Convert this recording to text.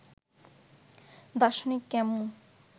দার্শনিক ক্যামু